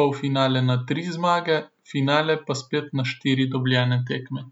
polfinale na tri zmage, finale pa spet na štiri dobljene tekme.